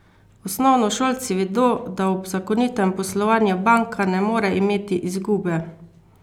Osnovnošolci vedo, da ob zakonitem poslovanju Banka ne more imeti izgube!